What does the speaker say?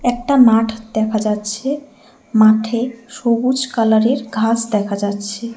একটা মাঠ দেখা যাচ্ছে মাঠে সবুজ কালারের ঘাস দেখা যাচ্ছে।